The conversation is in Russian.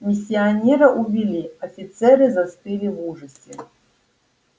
миссионера увели офицеры застыли в ужасе